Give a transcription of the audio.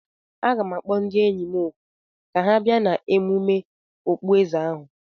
Aga m akpọ ndị enyi m òkù ka ha bịa n'emume okpueze ahu.